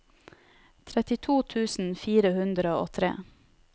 trettito tusen fire hundre og tre